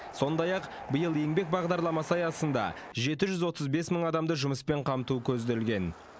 сондай ақ биыл еңбек бағдарламасы аясында жеті жүз отыз бес мың адамды жұмыспен қамту көзделген